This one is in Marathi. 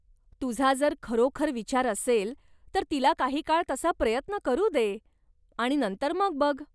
तुझा जर खरोखर विचार असेल, तर तिला काही काळ तसा प्रयत्न करू दे आणि नंतर मग बघ.